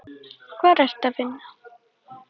Hvar ertu að vinna?